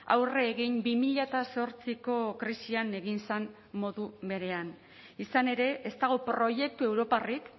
aurre egin bi mila zortziko krisian egin zen modu berean izan ere ez dago proiektu europarrik